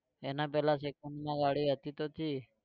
એના પેલા second માં ગાડી હતી તો હતી